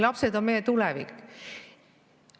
Lapsed on meie tulevik.